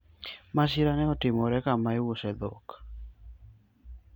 masira ne otimore kama iuse dhok